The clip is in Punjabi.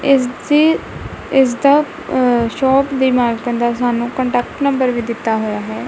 ਇਸਦੀ ਇਸਦਾ ਸ਼ੋਪ ਦੀ ਮਾਲਕਨ ਦਾ ਸਾਨੂੰ ਕੰਟੈਕਟ ਨੰਬਰ ਵੀ ਦਿੱਤਾ ਹੋਇਆ ਹੈ।